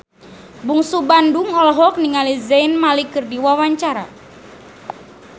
Bungsu Bandung olohok ningali Zayn Malik keur diwawancara